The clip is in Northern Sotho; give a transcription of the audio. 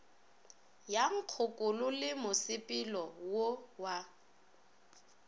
ya nkgokolo le mosepelo wa